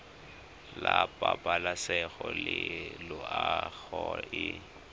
la pabalesego le loago e